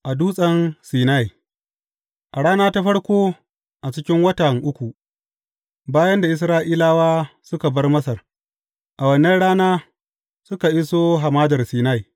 A Dutsen Sinai A rana ta farko a cikin watan uku bayan da Isra’ilawa suka bar Masar, a wannan rana, suka iso Hamadar Sinai.